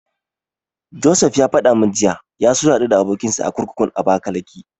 Josef ya faɗa min cewa ya so ya haɗu da abokinsa a kurkukun Abakalake.